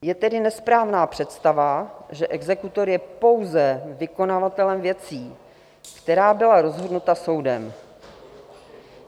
Je tedy nesprávná představa, že exekutor je pouze vykonavatelem věcí, které byly rozhodnuty soudem.